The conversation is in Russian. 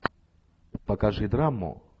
покажи драму